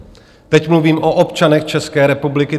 Teď mluvím o občanech České republiky.